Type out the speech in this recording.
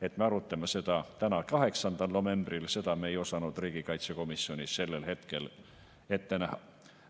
Et me arutame seda täna, 8. novembril, seda me ei osanud riigikaitsekomisjonis sellel hetkel ette näha.